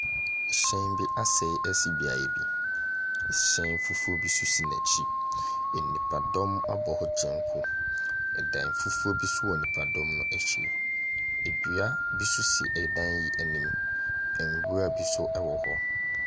Ɛhyɛn bi asɛe esi biaɛ bi. Ɛhyɛn fofro bi si nɛkyi. Enipa dɔm abɔ kyenku, ɛdai fufuo bi wɔ ɛdɔm no ɛkyi. Edua bi so si ɛdai yi ɛnim, nwura bi so ɛwɔ hɔ.